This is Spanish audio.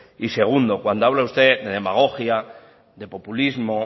y segundo cuando habla usted de demagogia de populismo